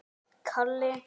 Þetta var amma hans Jóa.